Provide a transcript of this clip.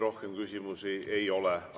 Rohkem küsimusi ei ole.